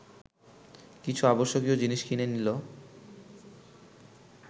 কিছু আবশ্যকীয় জিনিস কিনে নিল